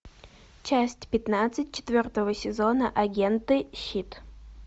часть пятнадцать четвертого сезона агенты щит